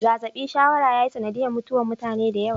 Zazabi shawara ya yi sanadiyar mutuwar mutane da yawa.